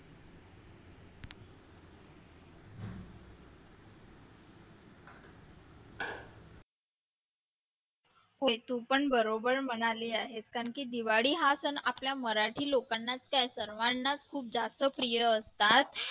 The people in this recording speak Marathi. पण बरोबर म्हणाली आहेस कारण की दिवाळी हा सण आपल्या मराठी लोकांनाच काय सर्वांनाच खूप जास्त प्रिय असतात